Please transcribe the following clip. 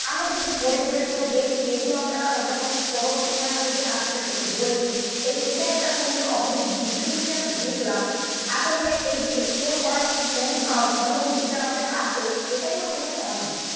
আমরা যে এই যে হরিণ-ঠোরেন গুলো দেখছি এগুলো আমরা যখন পরবর্তি এই যে আপনাদের কাছে বলছি এই এইটা একটা সুন্দর অপরূপ দৃশ্য গুলো যে আমরা দেখলাম আসলে এই যে এক্সপ্লোর করার অনুভব মনোভূতিটা আমাদের আছে এটাই আমাদের কাছে অনেক.